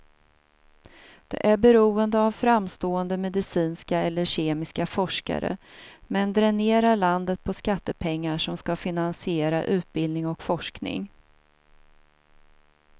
Det är beroende av framstående medicinska eller kemiska forskare, men dränerar landet på skattepengar som ska finansiera utbildning och forskning.